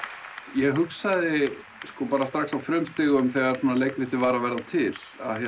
ég hugsaði strax á frumstigum þegar leikrtitið var að verða til